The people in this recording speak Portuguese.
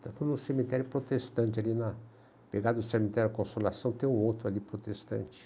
Está todo um cemitério protestante ali na... Pegado o cemitério da Consolação, tem um outro ali protestante.